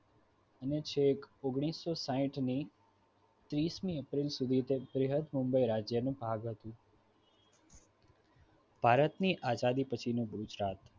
અને છેક ઓગણીસો સાહિઠની ત્રીસ મી એપ્રિલ સુધી મુંબઈ રાજ્યની ભાગ હતી ભારતની આઝાદી પછીનો ગુજરાત